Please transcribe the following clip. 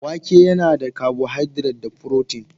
Wake yana da carbohydrate da furotin.